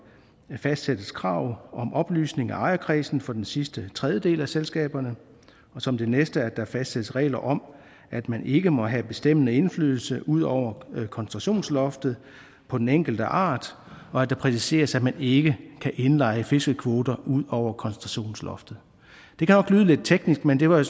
fastsættes krav om oplysning af ejerkredsen for den sidste tredjedel af selskaberne og som det næste at der fastsættes regler om at man ikke må have bestemmende indflydelse ud over koncentrationsloftet på den enkelte art og det præciseres at man ikke kan indleje fiskekvoter ud over koncentrationsloftet det kan nok lyde lidt teknisk men det var